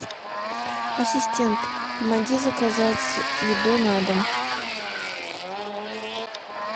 ассистент помоги заказать еду на дом